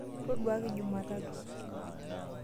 Toduaki jumatatu.